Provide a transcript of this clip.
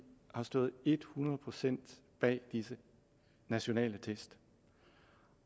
har stået et hundrede procent bag disse nationale test